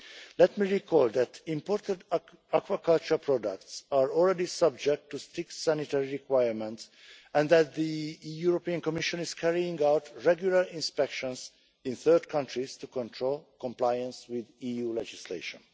Let me recall that imported aquaculture products are already subject to strict sanitary requirements and that the European Commission is carrying out regular inspections in third countries to control compliance with EU legislation.